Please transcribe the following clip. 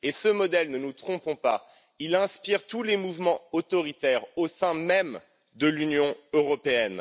Et ce modèle, ne nous trompons pas, inspire tous les mouvements autoritaires au sein même de l'Union européenne.